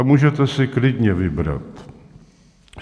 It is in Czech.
A můžete si klidně vybrat.